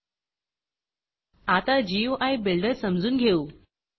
आता गुई builderजीयूआय बिल्डर समजून घेऊ